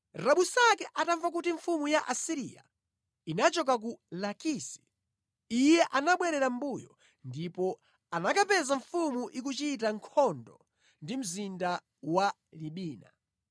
Rabusake atamva kuti mfumu ya ku Asiriya yachoka ku Lakisi, iye anabwerera mʼmbuyo ndipo anakapeza mfumu ikuchita nkhondo ndi mzinda wa Libina.